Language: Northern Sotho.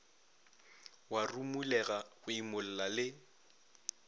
wa rumolega go imolla le